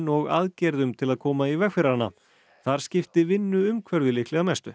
og aðgerðum til að koma í veg fyrir hana þar skipti vinnuumhverfið líklega mestu